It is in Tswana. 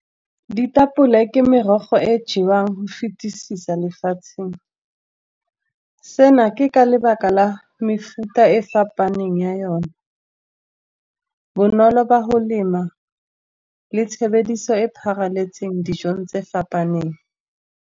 Ditapole ke merogo e jewang go fetesisa lefatsheng, seno ke ka lebaka la mefuta e fapaneng ya yone. Bonolo ba go lema le tshebediso e pharaletseng dijong tse fapaneng.